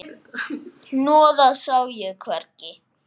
Hnoðað sá ég hvergi.